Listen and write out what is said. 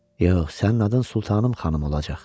Yox, sənin adın Sultanım xanım olacaq.